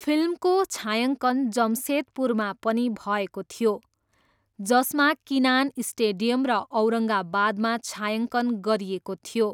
फिल्मको छायाङ्कन जमसेदपुरमा पनि भएको थियो जसमा किनान स्टेडियम र औरङ्गाबादमा छायाङ्कन गरिएको थियो।